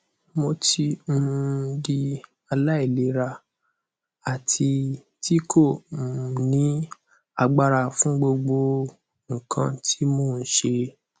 mo ti um di alailera ati ti ko um ni agbara fun gbogbo nkan ti mo n ṣe